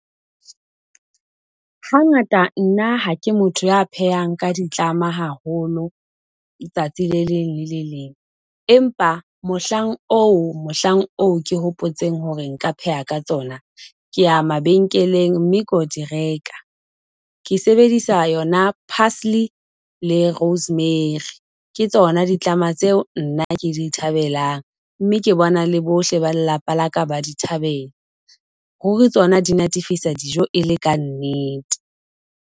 Hangata nna ha ke motho ya phehang ka ditlama haholo letsatsi le leng le le leng. Empa mohlang oo mohlang oo, ke hopotseng hore nka pheha ka tsona, keya mabenkeleng mme ko di reka. Ke sebedisa yona parsley le rosemary ke tsona ditlama tseo nna ke di thabelang, mme ke bona le bohle ba lelapa laka ba ditabela. Ruri tsona di natefisa dijo e le ka nnete.